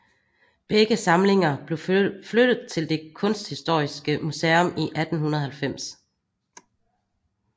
Begge samlinger blev flyttet til det kunsthistoriske museum i 1890